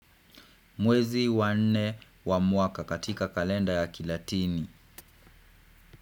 Mwezi wa nne wa mwaka katika kalenda ya kilatini.